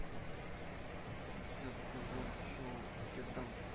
десятый сезон шоу скет данс